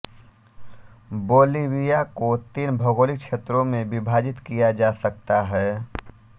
Bolivia को तीन भौगोलिक क्षेत्रों में विभाजित किया जा सकता है